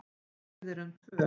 Og við erum tvö.